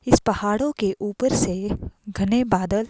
इस पहाड़ों के ऊपर से घने बादल--